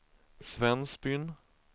Svensbyn